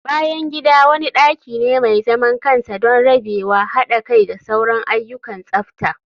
bayan gida wani daki ne mai zaman kansa don rabewa, hada kai da sauran ayyukan tsafta